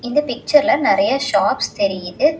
இந்த பிக்சர்ல நெறைய ஷாப்ஸ் தெரியிது.